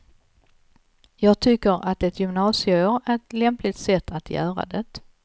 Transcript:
Jag tycker att ett gymnasieår är ett lämpligt sätt att göra det.